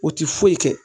O tɛ foyi kɛ